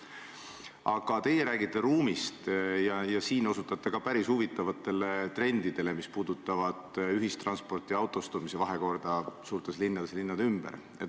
Aga teie räägite ruumist ja osutate ka päris huvitavatele trendidele, mis puudutavad ühistranspordi ja autostumise vahekorda suurtes linnades ja linnade ümber.